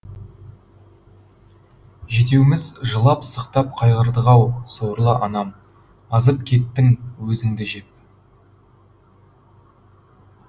жетеуміз жылап сықтап қайғырдық ау сорлы анам азып кеттің өзіңді жеп